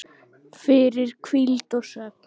fyrir hvíld og svefn